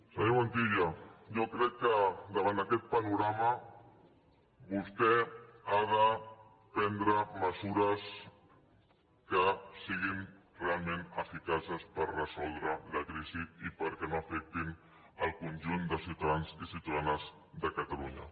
senyor montilla jo crec que davant aquest panorama vostè ha de prendre mesures que siguin realment eficaces per resoldre la crisi i perquè no afectin el conjunt de ciutadans i ciutadanes de catalunya